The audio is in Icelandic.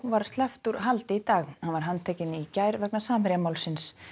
var sleppt úr haldi í dag hann var handtekinn í gær vegna Samherjamálsins